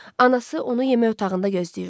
Anası onu yemək otağında gözləyirdi.